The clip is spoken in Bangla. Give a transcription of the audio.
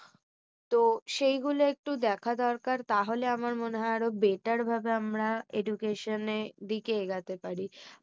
তো সেই গুলো একটু দেখা দরকার। তাহলে আমার মনে হয় আরো better ভাবে আমরা education দিকে এগোতে পারি।